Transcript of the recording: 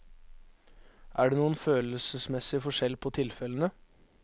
Er det noen følelsesmessig forskjell på tilfellene?